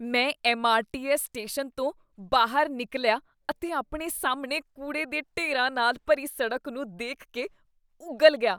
ਮੈਂ MRTS station ਤੋਂ ਬਾਹਰ ਨਿਕਲਿਆ ਅਤੇ ਆਪਣੇ ਸਾਹਮਣੇ ਕੂੜੇ ਦੇ ਢੇਰਾਂ ਨਾਲ ਭਰੀ ਸੜਕ ਨੂੰ ਦੇਖ ਕੇ ਉਗਲ ਗਿਆ।